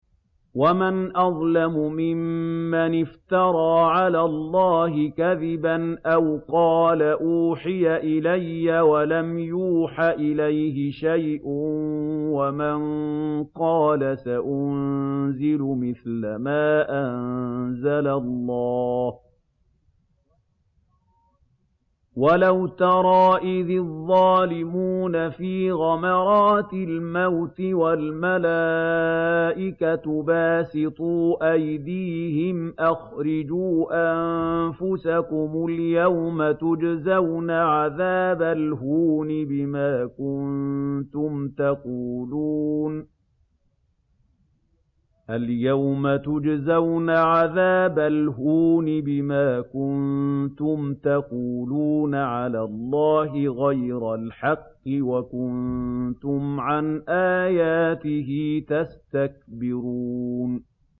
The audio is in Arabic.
وَمَنْ أَظْلَمُ مِمَّنِ افْتَرَىٰ عَلَى اللَّهِ كَذِبًا أَوْ قَالَ أُوحِيَ إِلَيَّ وَلَمْ يُوحَ إِلَيْهِ شَيْءٌ وَمَن قَالَ سَأُنزِلُ مِثْلَ مَا أَنزَلَ اللَّهُ ۗ وَلَوْ تَرَىٰ إِذِ الظَّالِمُونَ فِي غَمَرَاتِ الْمَوْتِ وَالْمَلَائِكَةُ بَاسِطُو أَيْدِيهِمْ أَخْرِجُوا أَنفُسَكُمُ ۖ الْيَوْمَ تُجْزَوْنَ عَذَابَ الْهُونِ بِمَا كُنتُمْ تَقُولُونَ عَلَى اللَّهِ غَيْرَ الْحَقِّ وَكُنتُمْ عَنْ آيَاتِهِ تَسْتَكْبِرُونَ